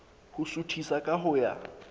ho suthisa ka ho ya